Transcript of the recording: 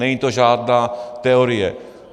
Není to žádná teorie.